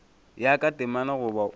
ya ka temana goba o